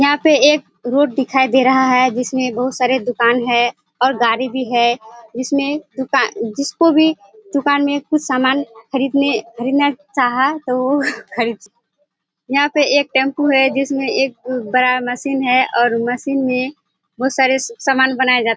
यहाँ पे एक रोड दिखाई दे रहा है जिसमें बहुत सारे दुकान है और गाड़ी भी है। इसमें दुकान जिसको भी दुकान में कुछ समान खरीदने खरीदना चाहा तो उ खरीद सक यहाँ पे एक टेम्पू है जिसमें एक अ बड़ा मशीन है और मशीन में बहोत सारे सामान बनाए जा --